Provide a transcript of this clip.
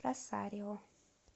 росарио